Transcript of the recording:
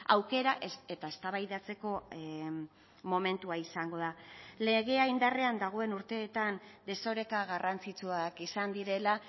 aukera eta eztabaidatzeko momentua izango da legea indarrean dagoen urteetan desoreka garrantzitsuak izan direla